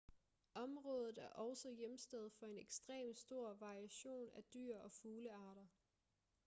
området er også hjemsted for en ekstrem stor variation af dyr og fuglearter